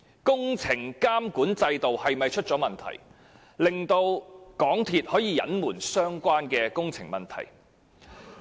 工程監管制度有否出現問題，令港鐵公司可以隱瞞相關工程問題？